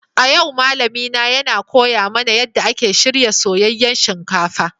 A yau malamina yana koya mana yadda ake shirya soyayyen shinkafa.